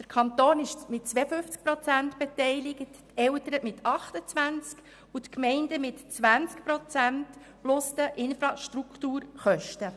Der Kanton ist mit 52 Prozent beteiligt, die Eltern mit 28 Prozent die Gemeinden mit 20 Prozent zuzüglich der Infrastrukturkosten.